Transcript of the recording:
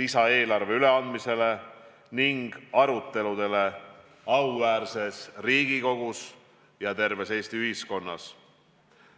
lisaeelarve üleandmisele ning aruteludele auväärses Riigikogus ja terves Eesti ühiskonnas.